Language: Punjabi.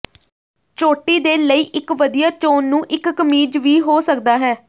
ਚੋਟੀ ਦੇ ਲਈ ਇੱਕ ਵਧੀਆ ਚੋਣ ਨੂੰ ਇੱਕ ਕਮੀਜ਼ ਵੀ ਹੋ ਸਕਦਾ ਹੈ